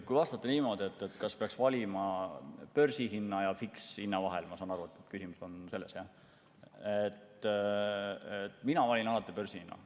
Kui vastata, kas peaks valima börsihinna ja fikshinna vahel – ma saan aru, et küsimus oli selles –, siis mina valin alati börsihinna.